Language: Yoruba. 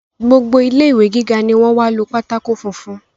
Gbogbo ilé ìwé gíga ni wọ́n wá lo pátákó funfun